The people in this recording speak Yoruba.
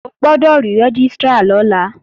O gbọ́dọ̀ rí Rẹ́gístrà lọ́la!